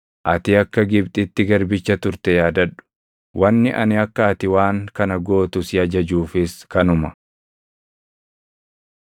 Ati akka Gibxitti garbicha turte yaadadhu. Wanni ani akka ati waan kana gootu si ajajuufis kanuma.